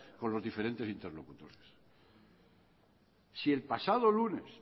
con los diferentes interlocutores si el pasado lunes